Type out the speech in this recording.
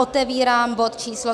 Otevírám bod číslo